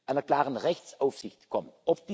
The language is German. einer klaren Rechtsaufsicht kommen.